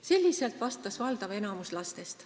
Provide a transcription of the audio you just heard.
Selliselt vastas valdav osa lastest.